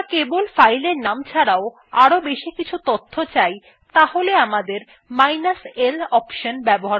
যদি আমরা কেবল fileএর নাম ছাড়াও আরও বেশি কিছু তথ্য চাই তাহলে আমাদের minus l অনশন ব্যবহার করতে হবে